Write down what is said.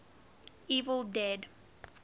evil dead